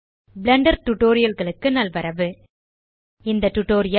Blender Tutorialகளுக்கு நல்வரவு இந்த டியூட்டோரியல்